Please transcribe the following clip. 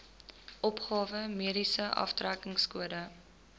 opgawe mediese aftrekkingskode